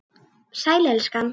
Sæl, elskan.